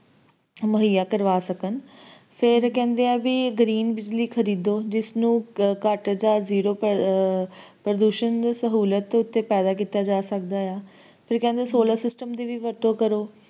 ਮੁਹਈਆ ਕਰਵਾ ਸਕਣ ਤੇ ਫੇਰ ਕਹਿੰਦੇ ਆਏ ਕਿ green ਬਿਜਲੀ ਖਰਦਿਓ ਜਿਸ ਨੂੰ ਘਟ ਜਾ zero ਪ੍ਰਤੀਸ਼ਤ pollution ਤੇ ਪੈਦਾ ਕੀਤਾ ਜਾ ਸਕਦਾ ਆ ਫੇਰ ਕਹਿੰਦੇ solar system ਵੀ ਵਰਤੋਂ ਕਰੋ